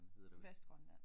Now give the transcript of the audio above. Vestgrønland